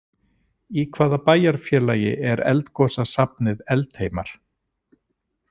Í hvaða bæjarfélagi er eldgosasafnið Eldheimar?